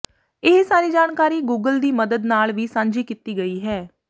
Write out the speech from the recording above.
ਇਹ ਸਾਰੀ ਜਾਣਕਾਰੀ ਗੂਗਲ ਦੀ ਮੱਦਦ ਨਾਲ ਵੀ ਸਾਂਝੀ ਕੀਤੀ ਗਈ ਹੈ